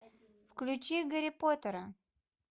включи гарри поттера